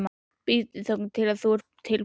Bíddu þangað til þú ert tilbúinn.